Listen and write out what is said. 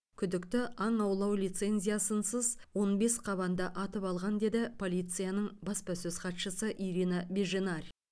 күдікті аң аулау лицензиясынсыз он бес қабанды атып алған деді полицияның баспасөз хатшысы ирина беженарь